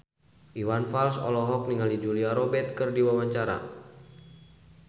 Iwan Fals olohok ningali Julia Robert keur diwawancara